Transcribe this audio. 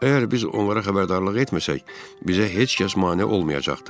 Əgər biz onlara xəbərdarlıq etməsək, bizə heç kəs mane olmayacaqdır.